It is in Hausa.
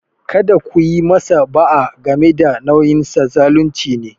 Kada ku yi masa ba'a game da nauyinsa - zalunci ne.